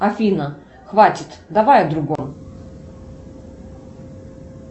афина хватит давай о другом